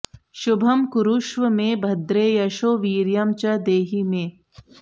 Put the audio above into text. शुभं कुरुष्व मे भद्रे यशो वीर्यं च देहि मे